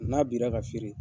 N'a bira ka feere